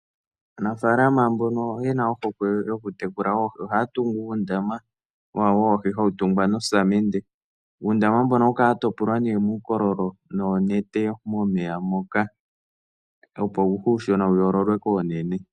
Aanafaalama mbono yena ohokwe yokutekula oohi ohaya tungu oondama wawo woohi hawu tungwa nosamende, uundama mbono ohawu kala watopolwa ne muukoololo noonete momeya moka opouushona wuyoololwe koonene.